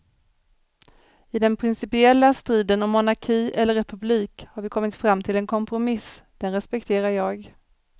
I den principiella striden om monarki eller republik har vi kommit fram till en kompromiss, den respekterar jag.